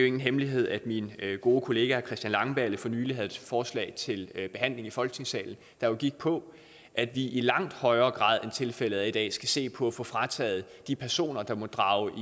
ingen hemmelighed at min gode kollega herre christian langballe for nylig havde et forslag til behandling i folketingssalen der gik på at vi i langt højere grad end tilfældet er i dag skal se på at få frataget de personer der måtte drage